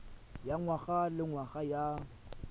ya ngwaga le ngwaga ya